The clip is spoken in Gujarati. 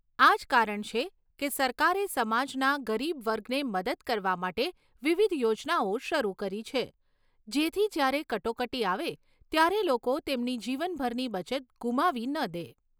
આ જ કારણ છે કે સરકારે સમાજના ગરીબ વર્ગને મદદ કરવા માટે વિવિધ યોજનાઓ શરૂ કરી છે, જેથી જ્યારે કટોકટી આવે ત્યારે લોકો તેમની જીવનભરની બચત ગુમાવી ન દે.